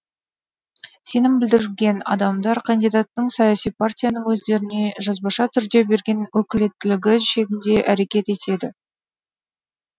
сенім білдірілген адамдар кандидаттың саяси партияның өздеріне жазбаша түрде берген өкілеттілігі шегінде әрекет етеді